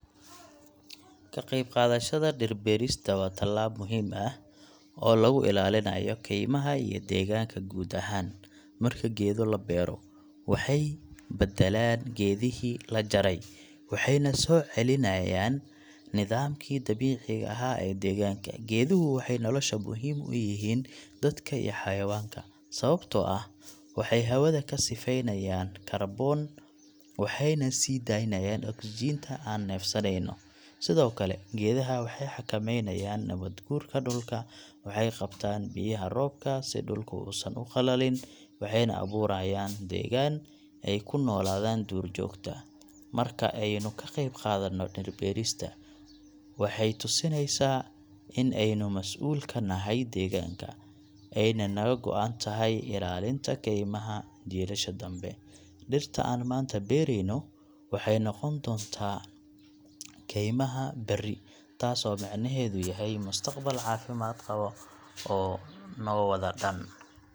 Ka qayb qaadashada dhir beerista waa tallaab muhiim ah oo lagu ilaalinayo kaymaha iyo deegaanka guud ahaan. Marka geedo la beero, waxay badalaan geedihii la jaray, waxayna soo celinayaan nidaamkii dabiiciga ahaa ee deegaanka. Geeduhu waxay nolosha muhiim u yihiin dadka iyo xayawaanka, sababtoo ah waxay hawada ka sifeynayaan kaarboon, waxayna sii daynayaan ogsijiinta aan neefsaneyno. Sidoo kale, geedaha waxay xakameynayaan nabaad guurka dhulka, waxay qabtaan biyaha roobka si dhulka uusan u qallalin, waxayna abuurayaan deegaan ay ku noolaadaan duurjoogta. Marka aynu ka qayb qaadano dhir beerista, waxay tusinaysaa in aynu masuul ka nahay deegaanka, ayna naga go’an tahay ilaalinta kaymaha jiilasha danbe. Dhirta aan maanta beerayno waxay noqon doonaan kaymaha berri, taasoo micnaheedu yahay mustaqbal caafimaad qaba oo noo wada dhan.